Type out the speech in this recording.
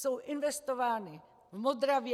Jsou investovány v Modravě.